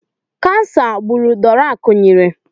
Kansa gburu Dora Akunyili.